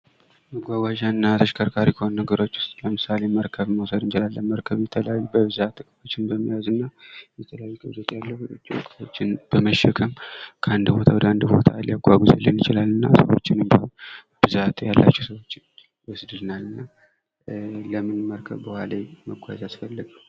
መጓጓዣ እና ተሽከርካሪ ከሆኑት ነገሮች ዉስጥ ለምሳሌ መርከብን መውሰድ እንችላለን። መርከብ በብዛት የተለያዩ እቃዎችን በመያዝ እና የተለያዩ ምርቶችን በመሸከም ካንድ ቦታ ወደ ሌላ ቦታ ሊያጓጉዝልን ይችላል፤ እና ሰዎችን እንዲሁ ብዛት ያላቸው ሰዎችን ያጓጉዝልናል። ለምንድን ነው መርከብ በዉሃ ላይ መጓዝ ያስፈለገው?